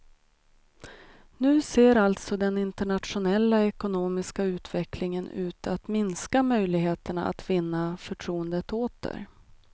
Nu ser alltså den internationella ekonomiska utvecklingen ut att minska möjligheterna att vinna förtroendet åter.